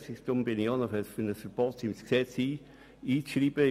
Deshalb bin ich dafür, ein Verbot ins Gesetz aufzunehmen.